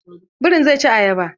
Birin zai ci ayaba.